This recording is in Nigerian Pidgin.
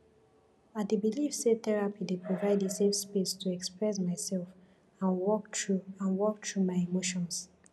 i dey believe say therapy dey provide a safe space to express myself and work through and work through my emotions